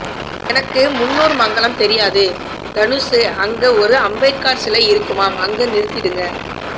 எனக்கு முன்னூர்மங்கலம் தெரியாது தனுசு அங்க ஒரு அம்பேத்கார் சிலை இருக்குமாம் அங்க நிறுத்திடுங்க